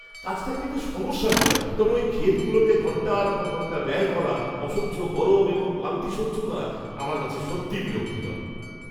কাজটা এমনিতে সমস্যা নয়, তবে ওই ক্ষেতগুলোতে ঘন্টার পর ঘন্টা ব্যয় করা, অসহ্য গরম এবং ক্লান্তি সহ্য করা, আমার কাছে সত্যিই বিরক্তিকর।